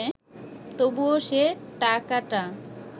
তবুও সে টাকাটা